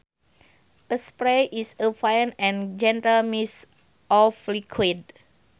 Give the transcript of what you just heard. A spray is a fine and gentle mist of liquid